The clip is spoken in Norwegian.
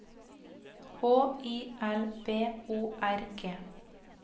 H I L B O R G